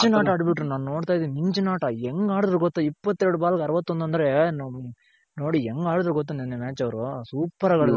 ತುಂಬ ಮಿಂಚಿನಾಟ ಆಡ್ಬಿಟ್ಟರು ನಾನ್ ನೋಡ್ತಾ ಇದ್ದೀನಿ ಮಿಂಚಿನಾಟ ಹೆಂಗ್ ಆಡದ್ರು ಗೊತ್ತ ಇಪ್ಪತ್ತೆರಡು ಬಾಲ್ಗ್ ಅರವತ್ತೊಂದ್ ಅಂದ್ರೆ ನೋಡಿ ಹೆಂಗ್ ಆಡಿದ್ರು ಗೊತ್ತ ನೆನ್ನೆ match ಅವ್ರು ಸೂಪರ್ ಆಗ್ ಆಡಿದ್ರು.